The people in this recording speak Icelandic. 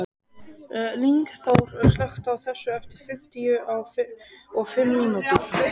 Lyngþór, slökktu á þessu eftir fimmtíu og fimm mínútur.